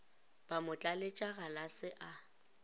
ba mo tlaletša galase a